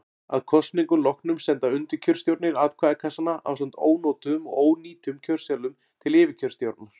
Að kosningum loknum senda undirkjörstjórnir atkvæðakassana ásamt ónotuðum og ónýtum kjörseðlum til yfirkjörstjórnar.